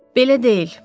Belə deyil,